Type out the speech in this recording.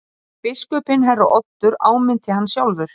Biskupinn herra Oddur áminnti hann sjálfur.